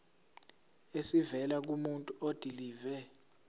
esivela kumuntu odilive